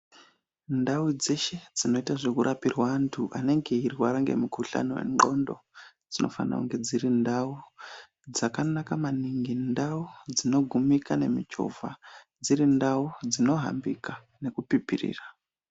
Ndau dzeshe dzinoita yekurapirwa antu anenge eirwara nemikhuhlani wendxondo dzinofana kunge dziri ndau dzakanaka maningi, ndau dzinogumika nemichivha dziri ndau dzinohambika nekupipirirra.